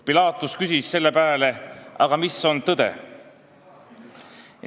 " Pilaatus küsis selle pääle, aga mis on tõde.